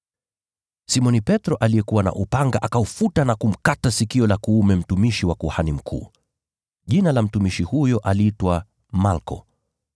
Simoni Petro, aliyekuwa na upanga, akaufuta na kumkata sikio la kuume mtumishi wa kuhani mkuu. Jina la mtumishi huyo aliitwa Malko.